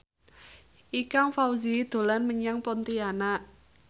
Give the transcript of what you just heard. Ikang Fawzi dolan menyang Pontianak